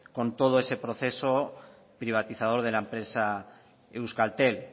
con todo ese proceso privatizador de la empresa euskaltel